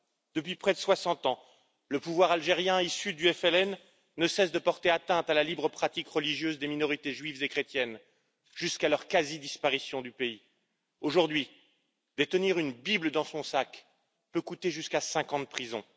Depuis près de 60 ans, le pouvoir algérien issu du FLN ne cesse de porter atteinte à la libre pratique religieuse des minorités juives et chrétiennes, jusqu'à leur quasi disparition du pays. Aujourd'hui, détenir une Bible dans son sac peut coûter jusqu'à cinq ans de prison.